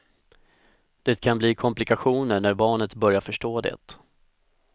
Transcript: Det kan bli komplikationer när barnet börjar förstå det.